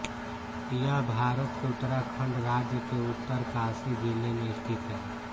यह भारत के उत्तराखण्ड राज्य के उत्तरकाशी जिले में स्थित है